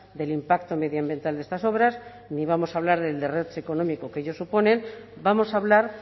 del impacto medioambiental de estas obras ni vamos a hablar del derroche económico que ellos suponen vamos a hablar